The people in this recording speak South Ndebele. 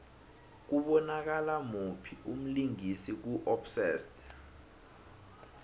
kubonakala muphi umlingisi ku obsessed